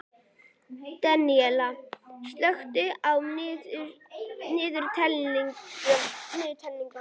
Daníella, slökktu á niðurteljaranum.